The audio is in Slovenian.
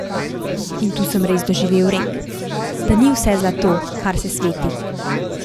In tu sem res doživel rek, da ni vse zlato, kar se sveti.